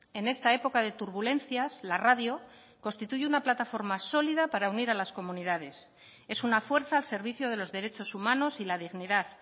en esta época de turbulencias la radio constituye una plataforma sólida para unir a las comunidades es una fuerza al servicio de los derechos humanos y la dignidad